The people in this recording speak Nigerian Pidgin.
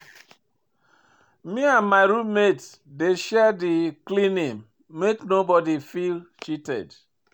Me and my room mate dey share di cleaning make nobodi feel cheated.